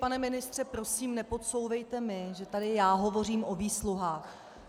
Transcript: Pane ministře, prosím, nepodsouvejte mi, že tady já hovořím o výsluhách.